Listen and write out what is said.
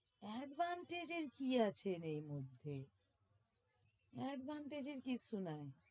Advantage এর কি আছে রে এরমধ্যে? advantage এর কিচ্ছু নাই,